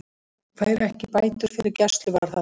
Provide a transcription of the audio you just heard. Fær ekki bætur fyrir gæsluvarðhald